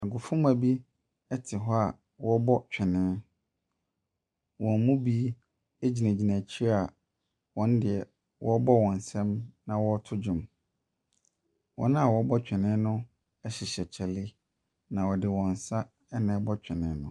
Agofomma bi te hɔ a wɔrebɔ twene. Wɔn mu bi gyinagyina akyire a wɔn deɛ wɔrebɔ wɔn nsam na wɔreto dwom. Wɔn a wɔrebɔ twene no hyehyɛ kyale, na wɔde wɔn nsa na ɛrekɔ twene no.